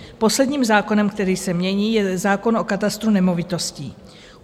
Posledním zákonem, který se mění, je zákon o katastru nemovitostí.